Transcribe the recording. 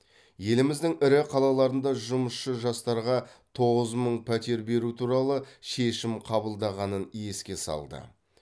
еліміздің ірі қалаларында жұмысшы жастарға тоғыз мың пәтер беру туралы шешім қабылданғанын еске салды